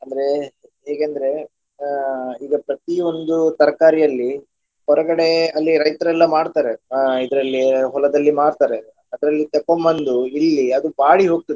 ಅಂದ್ರೆ ಹೀಗೆಂದ್ರೆ ಅಹ್ ಈಗ ಪ್ರತಿಯೊಂದು ತರಕಾರಿಯಲ್ಲಿ ಹೊರಗಡೆ ಅಲ್ಲಿ ರೈತ್ರೆಲ್ಲ ಮಾಡ್ತಾರೆ ಅಹ್ ಇದರಲ್ಲಿ ಹೊಲದಲ್ಲಿ ಮಾಡ್ತಾರೆ ಅದರಲ್ಲಿ ತಕೊಂಡ್ ಬಂದು ಇಲ್ಲಿ ಅದು ಬಾಡಿ ಹೋಗ್ತದೆ.